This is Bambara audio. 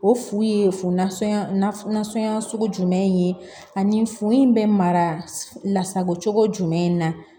O fu ye fu nasɔn nasɔnna sugu jumɛn ye ani fu in bɛ mara la sagocogo jumɛn na